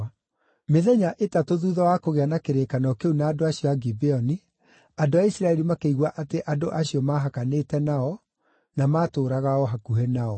Mĩthenya ĩtatũ thuutha wa kũgĩa na kĩrĩkanĩro kĩu na andũ acio a Gibeoni, andũ a Isiraeli makĩigua atĩ andũ acio maahakanĩte nao, na maatũũraga o hakuhĩ nao.